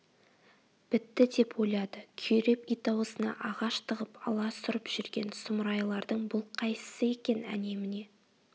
бітті деп ойлады күйреп ит аузына ағаш тығып аласұрып жүрген сұмырайлардың бұл қайсысы екен әне-міне